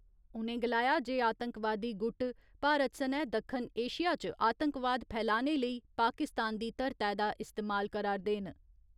उ'नें गलाया जे आतंकवादी गुट, भारत सनै दक्खन एशिया च आतंकवाद फैलाने लेई पाकिस्तान दी धरतै दा इस्तेमाल करा'रदे न।